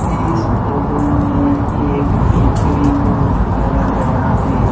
इस फोटो में एक बेकरी को दिखाया गया है।